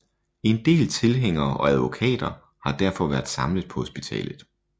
En del tilhængere og advokater har derfor været samlet på hospitalet